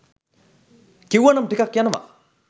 කිව්වනම් ටිකක් යනව